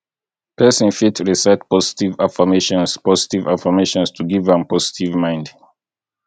person fit recite positive affirmations positive affirmations to give am positive mind